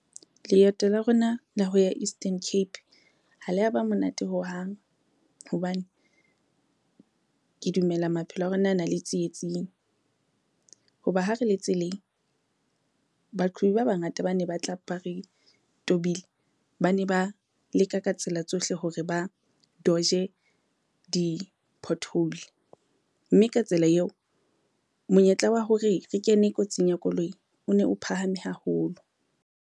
Leeto la rona la ho ya Eastern Cape ha le aba monate hohang, hobane ke dumela maphelo a rona a na le tsietsing. Ho ba ha re le tseleng, baqhobi ba bangata ba ne ba tla ba re tobile, ba ne ba leka ka tsela tsohle hore ba dodge-e di-pothole mme ka tsela eo monyetla wa hore re kene kotsing ya koloi, o ne o phahame haholo.